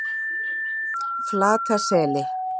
Flataseli